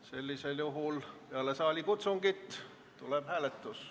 Sellisel juhul peale saalikutsungit tuleb hääletus.